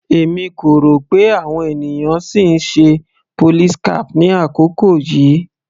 Èmi kò rò pé àwọn ènìyàn sì ń ṣe police cap ní àkókò yìí.